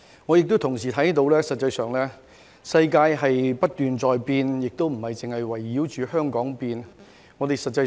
我也同時看到實際上世界不斷在變，而且不是圍繞着香港改變。